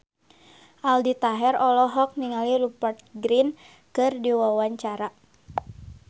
Aldi Taher olohok ningali Rupert Grin keur diwawancara